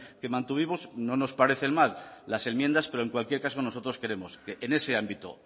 que mantuvimos no nos parecen mal las enmiendas pero en cualquier caso nosotros queremos que en ese ámbito